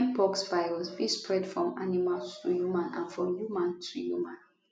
mpox virus fit spread from animal to human and from human to human